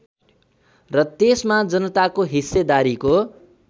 र त्यसमा जनताको हिस्सेदारीको